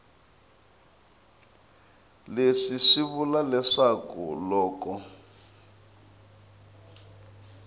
leswi swi vula leswaku loko